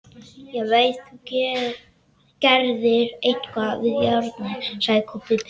Ég veit þú gerðir eitthvað við járnið, sagði Kobbi pirraður.